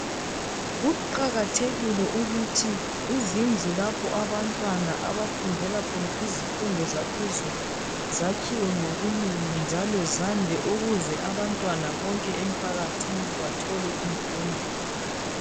Kuqakathekile ukuthi izindlu lapho abantwana abafundela khona izifundo zaphezulu. Zakhiwe ngobunengi njalo zande ukuze abantwana bonke emphakathini bathole ukufunda.